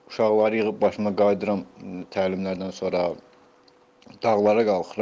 Uşaqları yığıb başıma qayıdıram təlimlərdən sonra dağlara qalxıram.